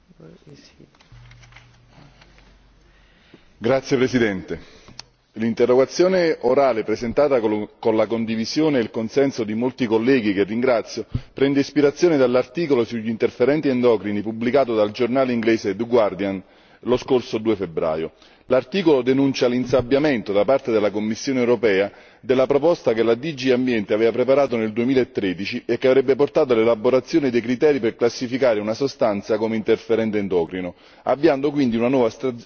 Signora Presidente, onorevoli colleghi, l'interrogazione orale presentata con la condivisione e il consenso di molti colleghi, che ringrazio, prende ispirazione dall'articolo sugli interferenti endocrini pubblicato dal giornale inglese lo scorso 2 febbraio. L'articolo denuncia l'insabbiamento da parte della Commissione europea della proposta che la DG Ambiente aveva preparato nel 2013 e che avrebbe portato all'elaborazione dei criteri per classificare una sostanza come interferente endocrino, avviando quindi una nuova